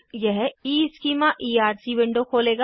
यह ईस्कीमा ईआरसी विंडो खोलेगा